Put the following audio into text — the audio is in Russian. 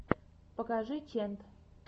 покажи ченд